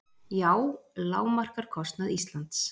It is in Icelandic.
JÁ lágmarkar kostnað Íslands